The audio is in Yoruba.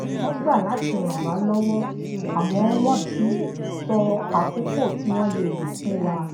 wón gbà láti ràn wá lówó àmó wón ti sọ àkókò tí wón le lo fún wa